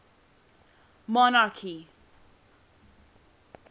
monarchy